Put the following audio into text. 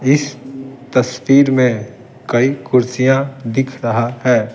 इस तस्वीर में कई कुर्सियां दिख रहा है।